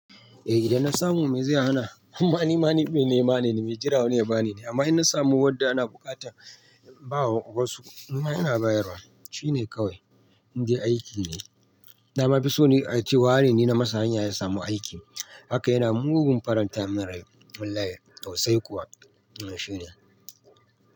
Eh, idan na samu mai zai hana, amma nima me nema ne, mai jira wani ya bani ne. Amma inna samu wadda ana buƙatar bawa wasu, nima ina bayarwa, shine kawai. Indai aiki ne, nama fi son ace wane ni na masa hanya ya samu aiki. Hakan yana mugun faranta min rai. Wallahi, so sai kuwa. Eh, shi ne.